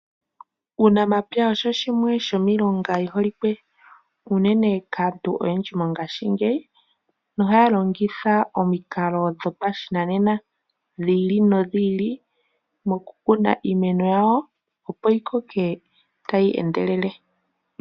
Uunamapya osho shimwe shomiilonga yi holikwe unene kaantu oyendji mongaashingeyi nohaya longitha omikalo dhopashinanena dhi ili nodhi ili mokukuna iimeno yawo opo yi koke tayi endelele.